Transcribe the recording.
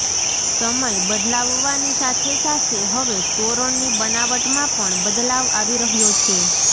સમય બદલાવવાની સાથે સાથે હવે તોરણની બનાવટમાં પણ બદલાવ આવી રહ્યો છે